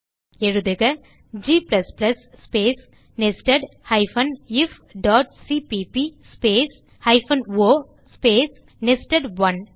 எழுதுக160 g space nested ifசிபிபி space o space நெஸ்டட்1